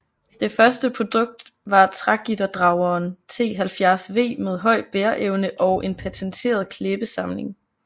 Det første produkt var trægitterdrageren T 70 V med høj bæreevne og en patenteret klæbesamling